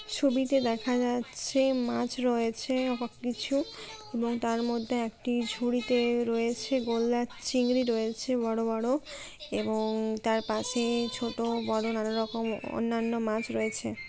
ছবিতে দেখা যাচ্ছে মাছ রয়েছে বা কিছু এবং তার মধ্যে একটি ঝুড়িতে রয়েছে গলদা চিংড়ি রয়েছে বড়ো বড়ো এবং তার পাশে ছোট বড়ো নানা রকম অন্যান্য মাছ রয়েছে।